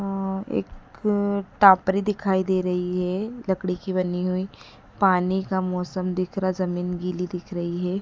अं एक टापरी दिखाई दे रही है लकड़ी की बनी हुई पानी का मौसम दिख रहा है ज़मीन गिली दिख रही है।